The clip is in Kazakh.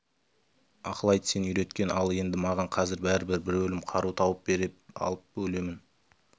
ақыл айт сен үйреткен ал енді маған қазір бәрібір бір өлім қару тауып бер алысып өлемін